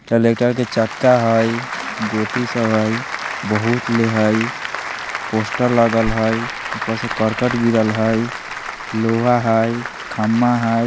टॉलेक्टर के चक्का हई गोटी सब हई बोहत ले हई पोस्टर लागल हई ऊपर से कर्कट गिरल हई लोहा हई खंभा हई ।